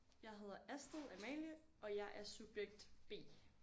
Jeg hedder Astrid Amalie og jeg er subjekt B